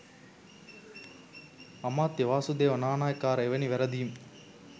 අමාත්‍ය වාසුදේව නානායක්කාර එවැනි වැරදීම්